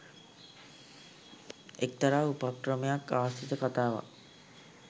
එක්තරා උපක්‍රමයක් ආශ්‍රිත කතාවක්.